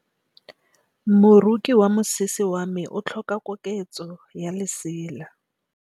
Moroki wa mosese wa me o tlhoka koketsô ya lesela.